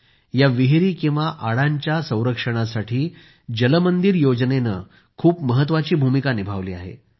या विहिरी किंवा आडांच्या संरक्षणासाठी जल मंदिर योजनेनं खूप महत्वाची भूमिका निभावली आहे